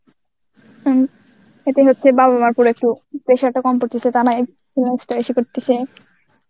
হমম. এতে হচ্ছে বাবা মা করেছে ওপর একটু pressure টা কম পরতেসে করতেছে